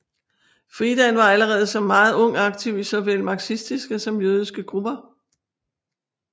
Friedan var allerede som meget ung aktiv i såvel marxistiske som jødiske grupper